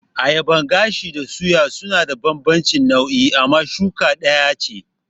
Ayaban gashi da suya suna da bambanci nau'i amma suka ɗaya ce